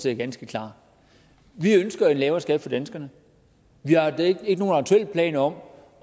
er ganske klar vi ønsker en lavere skat for danskerne vi har ikke nogen aktuelle planer om